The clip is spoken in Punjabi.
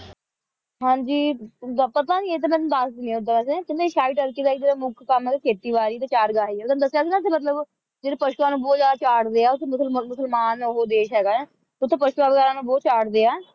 ਹਾਂ ਜੀ ਪਤਾ ਨਹੀਂ ਇਹ ਤਾਂ ਮੈਂ ਤੁਹਾਨੂੰ ਦੱਸ ਦਿੰਨੀ ਹਾਂ ਓਦਾਂ ਵੈਸੇ ਕਹਿੰਦੇ ਏਸ਼ਿਆਈ ਤੁਰਕੀ ਦਾ ਜਿਹੜਾ ਮੁੱਖ ਕੰਮ ਹੈ ਉਹ ਖੇਤੀ ਬੜੀ ਤੇ ਚਾਰਗਾਹੀ ਹੈ ਤੁਹਾਨੂੰ ਦੱਸਿਆ ਸੀ ਨਾ ਮੈਂ ਇੱਥੇ ਮਤਲਬ ਜਿਹੜੇ ਪਸ਼ੂਆਂ ਨੂੰ ਬਹੁਤ ਜਿਆਦਾ ਚਾਰਦੇ ਹੈ ਉੱਥੇ ਮੁਸਲਮਾਨ ਉਹ ਦੇਸ਼ ਹੈਗਾ ਹੈ ਉੱਥੇ ਪਸ਼ੂਆਂ ਵਗੈਰਾ ਨੂੰ ਬਹੁਤ ਚਾਰਦੇ ਹੈ